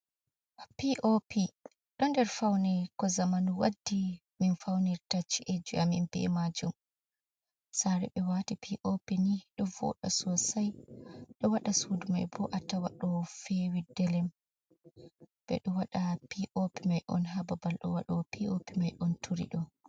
P.o.p, ɗo nder fawne ko zamanu waddi min fawnirta ci'e amin bee maajum, saare ɓe waati p.o.p nii ɗo vooda sosai ɗo waɗa suudu mai boo a tawa ɗo feewi delem ɓe ɗo waɗa p.o.p mai on haa babal waɗoowo p.o.p mai on turi ɗo'o.